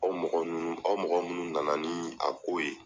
Aw mɔgɔ munun, aw mɔgɔ munun nana ni a ko ye